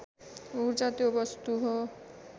ऊर्जा त्यो वस्तु हो